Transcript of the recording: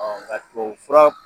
Ɔn nga tubabu fura